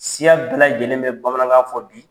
Siya bɛɛ lajɛlen bɛ bamanankan fɔ bi